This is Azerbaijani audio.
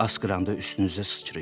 Asqıranda üstünüzə sıçrayıb.